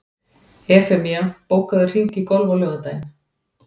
Evfemía, bókaðu hring í golf á laugardaginn.